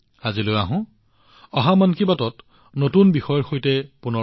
অহা মাহত আপোনালোকৰ সৈতে মন কী বাতত নতুন বিষয়ৰ সৈতে পুনৰ সাক্ষাৎ হম